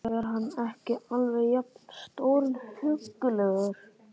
Er hann ekki alveg jafn stórhuggulegur?